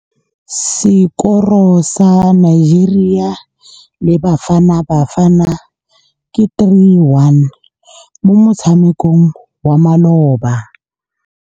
Sekôrô sa Nigeria le Bafanabafana ke 3-1 mo motshamekong wa malôba.